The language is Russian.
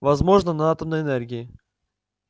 возможно на атомной энергии